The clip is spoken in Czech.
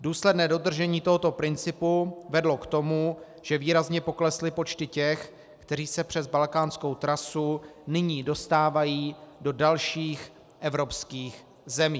Důsledné dodržení tohoto principu vedlo k tomu, že výrazně poklesly počty těch, kteří se přes balkánskou trasu nyní dostávají do dalších evropských zemí.